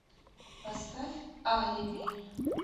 поставь алиби